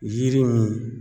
Yiri min